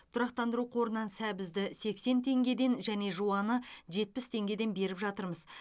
тұрақтандыру қорынан сәбізді сексен теңгеден және жуаны жетпіс теңгеден беріп жатырмыз